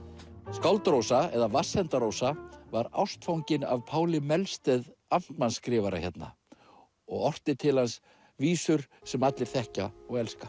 skáld Rósa eða Vatnsenda Rósa var ástfangin af Páli Melsteð amtmannsskrifara hérna og orti til hans vísur sem allir þekkja og elska